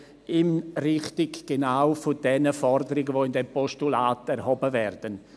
Er geht genau in Richtung der Forderungen, die im Postulat erhoben werden.